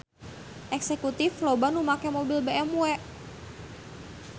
Eksekutif loba nu make mobil BMW